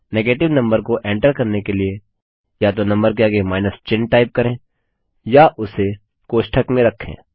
negative number को enter करने के लिए या तो नम्बर के आगे माइनस चिन्ह टाइप करें या उसे कोष्ठक में रखें